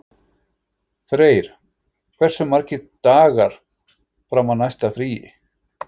Freyr, hversu margir dagar fram að næsta fríi?